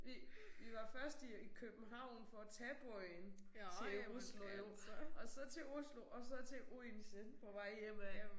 Vi vi var først i øh i København for at tage båden til Oslo jo og så til Oslo og så til Odense på vej hjemad